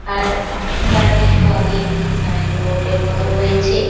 আর তার কিছু আগে একটি সিনে বোর্ড -এর মতন আছে।